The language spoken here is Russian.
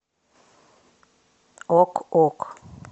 ок ок